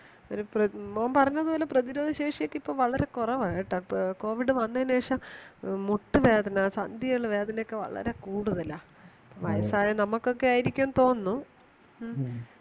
ഒരു പ്ര മോൻ പറഞ്ഞതുപോലെ പ്രതിരോധശേഷിശേഷിയൊക്കെ ഇപ്പോ വളരെ കുറവാ കേട്ടോ covid വന്നതിനു ശേഷം മുട്ട് വേദന സന്ധിവേദന വളരെ കൂടുതലാ വയസ്സായ നമുക്കൊക്കെയായിരിക്കും എന്ന് തോന്നുന്നു മ്മ